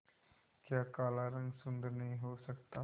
क्या काला रंग सुंदर नहीं हो सकता